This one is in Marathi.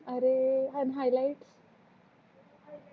अरे अन हायलाईट